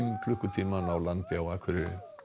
klukkutíma að ná landi á Akureyri